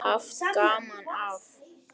Haft gaman af.